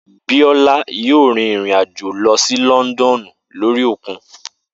Biola yóò rìn rìn àjò lọ sí Lọ́ndọ̀nù lórí òkun